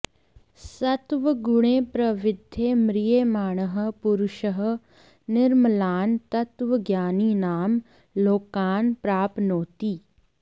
सत्त्वगुणे प्रवृद्धे म्रियमाणः पुरुषः निर्मलान् तत्त्वज्ञानिनां लोकान् प्राप्नोति